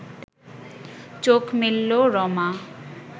চোখ মেলল রমা